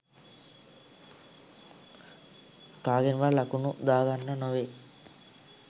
කාගෙන්වත් ලකුණු දාගන්න නෙවෙයි.